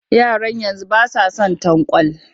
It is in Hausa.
Yaran yanzu ba sa son tanƙwal